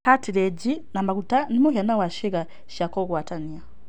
Cartilage na maguta nĩ mũhiano wa ciĩga cia kũgwatania.